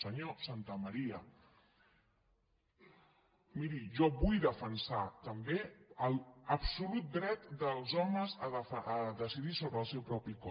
senyor santamaría miri jo vull defensar també l’absolut dret dels homes a decidir sobre el seu propi cos